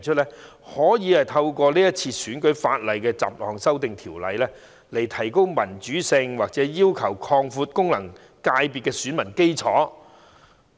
有議員表示希望透過《條例草案》，提高民主性或擴大功能界別的選民基礎。